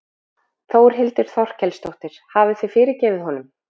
Þórhildur Þorkelsdóttir: Hafið þið fyrirgefið honum?